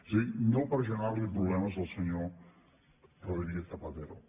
és a dir no per generar li problemes al senyor rodríguez zapatero